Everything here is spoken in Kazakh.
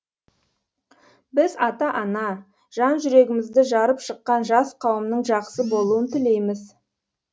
біз ата ана жан жүрегімізді жарып шыққан жас қауымның жақсы болуын тілейміз